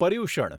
Paryushan